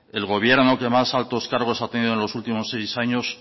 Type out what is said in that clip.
el gobierno que más altos cargos ha tenido en los últimos seis años